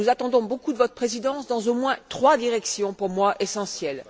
Nous attendons beaucoup de votre présidence dans au moins trois directions, pour moi, essentielles.